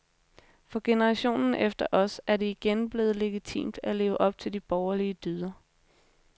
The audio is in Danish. For generationen efter os er det igen blevet legitimt at leve op til de borgerlige dyder.